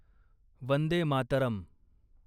Vande Mataram